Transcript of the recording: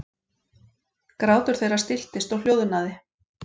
Grátur þeirra stilltist og hljóðnaði.